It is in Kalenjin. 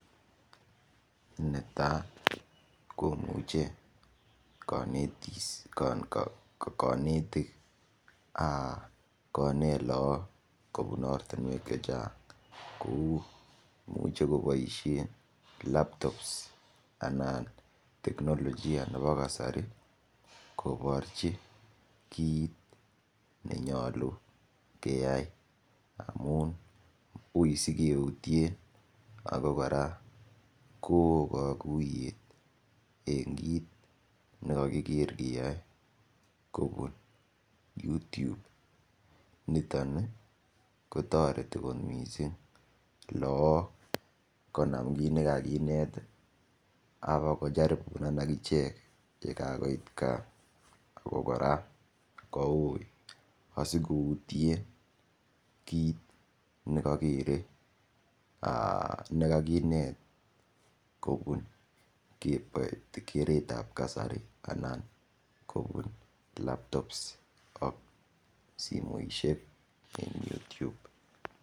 Netai kimuche konetik konet lakok kobun ortinwek che chang kou komochei koboishen laptops anan teknolojia nebo kasari koborchi kiit nenyolu keyai amun ui sikeutien ako kora ko oo kokuyet en kiit nikakiker kiyoe kobun YouTube niton kotoreti kot mising laak konam kiit nikakinet akocharipon akichek yekakoit kaa ako kora koui asikoutie kiit nikakerei nekakinet kobun keret ap kasari anan kobun laptops ak simoishek eng YouTube